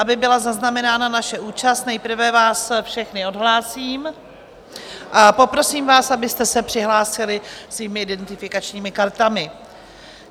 Aby byla zaznamenána naše účast, nejprve vás všechny odhlásím a poprosím vás, abyste se přihlásili svými identifikačními kartami.